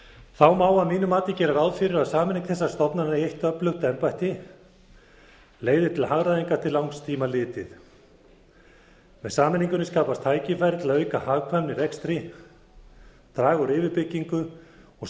þá má að mínu mati gera ráð fyrir að sameining þessara stofnana í eitt öflugt embætti leiði til hagræðingar til langs tíma litið með sameiningunni skapast tækifæri til að auka hagkvæmni í rekstri draga úr yfirbyggingu og